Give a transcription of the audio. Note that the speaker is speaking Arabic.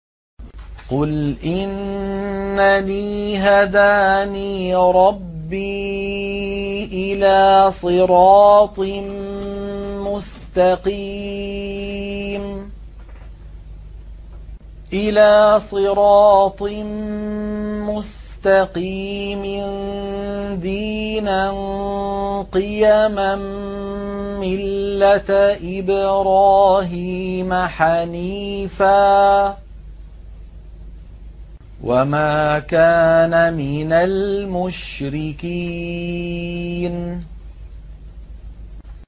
قُلْ إِنَّنِي هَدَانِي رَبِّي إِلَىٰ صِرَاطٍ مُّسْتَقِيمٍ دِينًا قِيَمًا مِّلَّةَ إِبْرَاهِيمَ حَنِيفًا ۚ وَمَا كَانَ مِنَ الْمُشْرِكِينَ